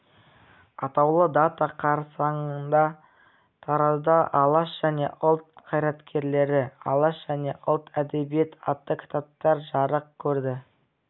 атаулы дата қарсаңында таразда алаш және ұлт қайраткерлері алаш және ұлт әдебиеті атты кітаптар жарық көрді